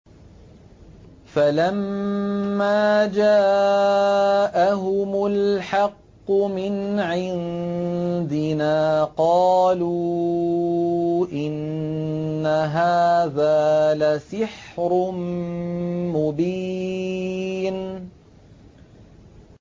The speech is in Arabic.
فَلَمَّا جَاءَهُمُ الْحَقُّ مِنْ عِندِنَا قَالُوا إِنَّ هَٰذَا لَسِحْرٌ مُّبِينٌ